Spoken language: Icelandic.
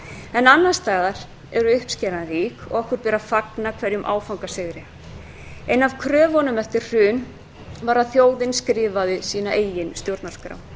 en annars staðar er uppskeran rík og okkur ber að fagna hverjum áfangasigri ein af kröfunum eftir hrun var að þjóðin skrifaði sína eigin stjórnarskrá